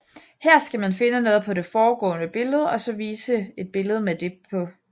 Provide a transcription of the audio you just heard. Her skal man finde noget på det foregående billede og så vise et billede med det på